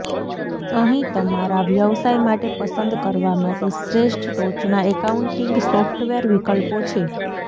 અહીં તમારા વ્યવસાય માટે પસંદ કરવા માટે શ્રેષ્ઠ ટોચના એકાઉન્ટિંગ સોફ્ટવેર વિકલ્પો છે